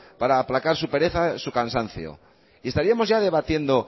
para aplacar su pereza su cansancio y estaríamos ya debatiendo